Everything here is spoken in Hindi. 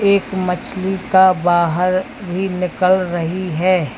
एक मछली का बाहर भी निकल रही है।